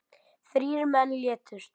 Þrír menn létust.